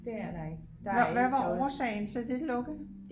hvad var årsagen til at det lukkede?